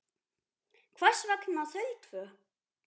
Hvers vegna þau tvö?